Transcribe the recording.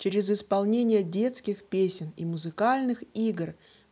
через исполнении детских песен и музыкальных игр